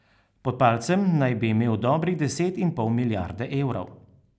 Pod palcem naj bi imel dobrih deset in pol milijarde evrov.